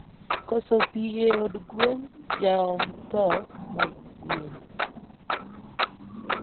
koso pii e od gwen jaomo tho mag gwen.